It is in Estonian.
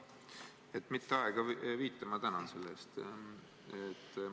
Et mitte aega viita – ma tänan selle eest!